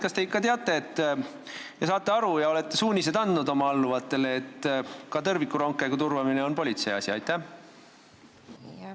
Kas te ikka teate ja saate aru, et ka tõrvikurongkäigu turvamine on politsei asi, ning kas te olete selle kohta andnud suuniseid oma alluvatele?